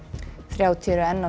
þrjátíu eru enn á